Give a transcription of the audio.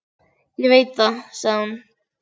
Ég veit það, sagði hún.